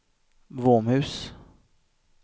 Våmhus